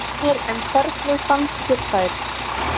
Heimir: En hvernig fannst þér þær?